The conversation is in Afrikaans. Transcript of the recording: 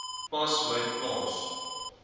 pas my plaas